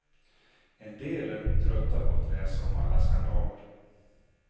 En del är nog trötta på att läsa om alla skandaler.